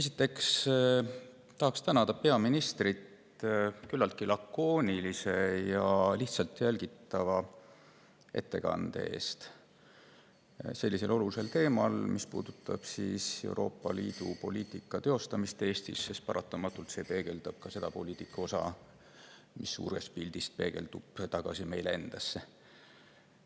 Esiteks tahan tänada peaministrit küllaltki lakoonilise ja lihtsalt jälgitava ettekande eest sellisel olulisel teemal, mis puudutab Euroopa Liidu poliitika teostamist Eestis, sest paratamatult see puudutab ka seda poliitika osa, mis suures pildis peegeldub tagasi meile endile.